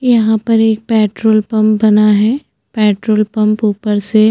यहाँ पर एक पेट्रोल पंप बना है पेट्रोल पंप ऊपर से--